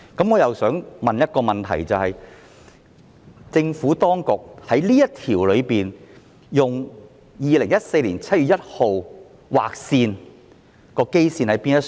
我的問題是，政府當局就這項條文以2014年7月1日作為劃線的基礎在哪呢？